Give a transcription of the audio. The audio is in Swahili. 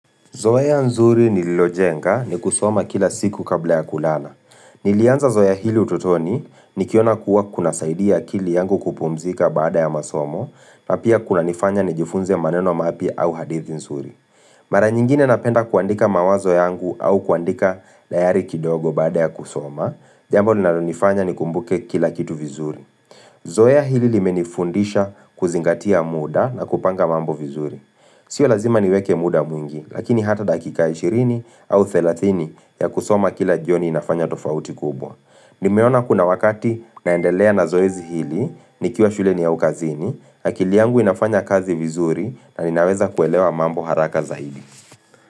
Zoea nzuri nililojenga ni kusoma kila siku kabla ya kulala. Nilianza zoea hilo utotoni nikiona kuwa kuna saidia akili yangu kupumzika baada ya masomo na pia kuna nifanya ni jifunze maneno mapya au hadithi nzuri. Mara nyingine napenda kuandika mawazo yangu au kuandika dayari kidogo baada ya kusoma, jambo linalonifanya ni kumbuke kila kitu vizuri. Zoea hili limenifundisha kuzingatia muda na kupanga mambo vizuri. Sio lazima niweke muda mwingi, lakini hata dakika 20 au 30 ya kusoma kila jioni inafanya tofauti kubwa. Nimeona kuna wakati naendelea na zoezi hili, nikiwa shuleni au kazini, akili yangu inafanya kazi vizuri na ninaweza kuelewa mambo haraka zaidi.